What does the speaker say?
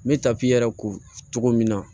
N bɛ tapiyɛrɛ ko cogo min na